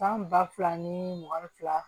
San ba fila ni mugan ni fila